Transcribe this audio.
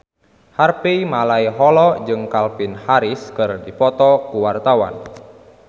Harvey Malaiholo jeung Calvin Harris keur dipoto ku wartawan